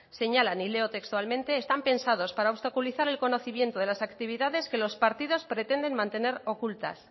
señalan y leo textualmente están pensados para obstaculizar el conocimiento de las actividades que los partidos pretenden mantener ocultas